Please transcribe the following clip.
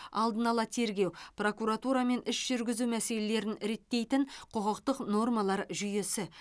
алдын ала тергеу прокуратура мен іс жүргізу мәселелерін реттейтін құқықтық нормалар жүйесі